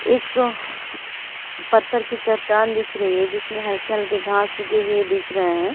एक पत्थर की चट्टान दिख रही है जिसमे हल्के-हल्के घांस उगे हुई दिख रहे है।